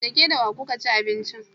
Da ke da wa kuka ci abincin?